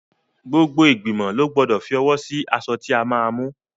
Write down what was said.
Gbogbo igbimo lọ gbọ́dọ̀ fi owó sí aṣọ tí a máa mú.